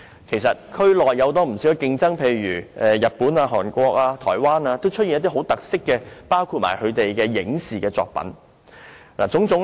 其實，區內有不少競爭，例如日本、韓國和台灣也推出了很多具特色的本地影視作品。